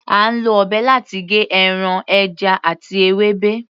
À ń lọ ọ̀bẹ láti gé ẹran, ẹja àti ewébẹ̀.